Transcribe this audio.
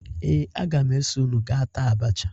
Ee, aga m eso unu gaa taa abacha